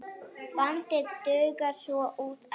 Bandið dugar svo út ævina.